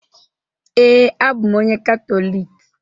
Ee, abụ m onye Katọlik